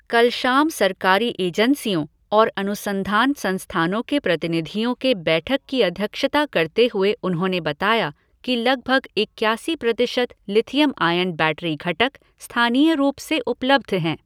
कल शाम सरकारी एजेंसियों और अनुसंधान संस्थानों के प्रतिनिधियों के बैठक की अध्यक्षता करते हुए उन्होंने बताया कि लगभग इक्यासी प्रतिशत लिथियम आयन बैटरी घटक स्थानीय रूप से उपलब्ध हैं।